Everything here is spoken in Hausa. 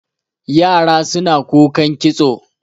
yara suna kukan kitso